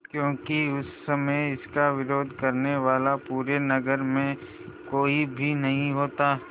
क्योंकि उस समय इसका विरोध करने वाला पूरे नगर में कोई भी नहीं होता